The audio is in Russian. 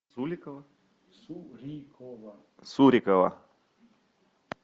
сурикова